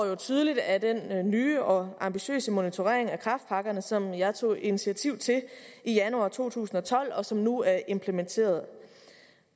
jo tydeligt af den nye og ambitiøse monitorering af kræftpakkerne som jeg tog initiativ til i januar to tusind og tolv og som nu er implementeret